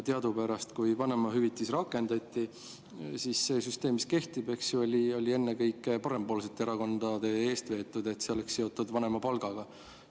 Teadupärast, kui vanemahüvitis rakendati, siis seda süsteemi, mis nüüd kehtib, vedasid eest ennekõike parempoolsed erakonnad, et see oleks seotud vanemapalgaga.